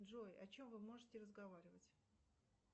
джой о чем вы можете разговаривать